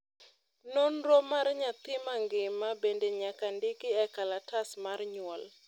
nonro may nyathi mangima bende nyaka ndiki e kalatas mar nyuol